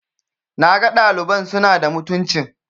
na ga ɗaliban suna da mutuncin